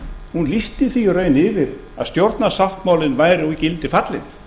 hún lýsti því í raun yfir að stjórnarsáttmálinn væri úr gildi fallinn